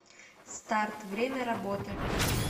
старт время работы